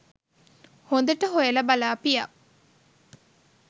හොදට හොයලා බලාපියව්.